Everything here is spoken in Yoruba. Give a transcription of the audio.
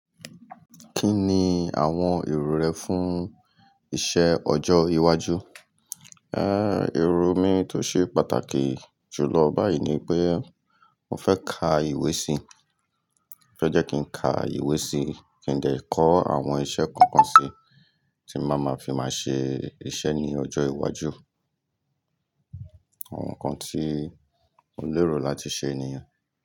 Kí ni àwọn èrò rẹ fún iṣẹ́ ọjọ́ iwájú? Ẹ́, èrò mi tó ṣe pàtàkì jùlọ báyìí ni pé mò fẹ́ ka ìwé síi. Mo fẹ́ jẹ́ kí n ka ìwé síí, kí n dè kọ́ àwọn iṣẹ́ kan kan síí tí máa ma fi máa ṣe iṣẹ́ ní ọjọ́ iwájú. Àwọn nǹkan tí ó lérò láti ṣe ni yen.